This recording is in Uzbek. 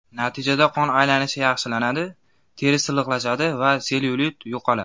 Natijada qon aylanish yaxshilanadi, teri silliqlashadi va sellyulit yo‘qoladi.